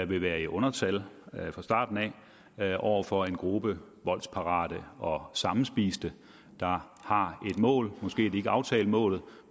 vil være i undertal fra starten af over for en gruppe voldsparate og sammenspiste der har et mål måske har de ikke aftalt målet